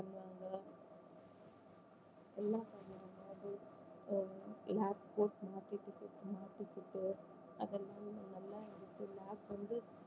எல்லாம் பண்ணுவாங்க அஹ் அது lab close அதெல்லாம் நல்லா எனக்கு lab வந்து